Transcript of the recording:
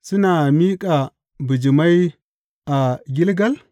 Suna miƙa bijimai a Gilgal?